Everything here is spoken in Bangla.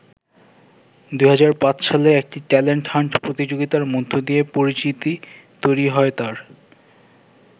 ২০০৫ সালে একটি ট্যালেন্ট হান্ট প্রতিযোগিতার মধ্য দিয়ে পরিচিতি তৈরি হয় তাঁর।